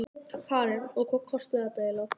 Karen: Og hvað kostaði þetta eiginlega?